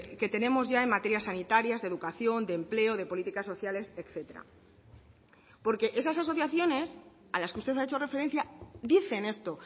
que tenemos ya en materias sanitarias de educación de empleo de políticas sociales etcétera porque esas asociaciones a las que usted ha hecho referencia dicen esto o